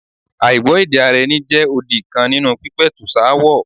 Àìgbọ́-èdè-ara-ẹni jẹ́ odi kan nínú pípẹ̀tùsááwọ̀.